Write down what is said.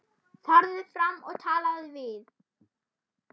Farðu fram og talaðu við